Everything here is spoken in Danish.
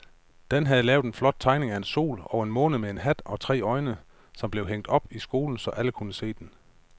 Dan havde lavet en flot tegning af en sol og en måne med hat og tre øjne, som blev hængt op i skolen, så alle kunne se den.